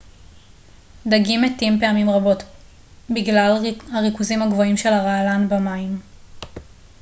דגים מתים פעמים רבות גלל הריכוזים הגבוהים של הרעלן במים